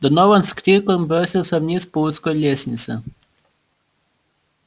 донован с криком бросился вниз по узкой лестнице